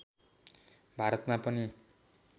भारतमा पनि